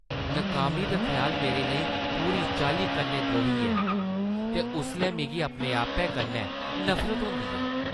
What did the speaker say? नाकामी दा ख्याल मेरे लेई पूरी चाल्ली कन्नै द्रोही ऐ ते उसलै मिगी अपने-आपै कन्नै नफरत होंदी ऐ।